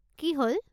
কি হ'ল?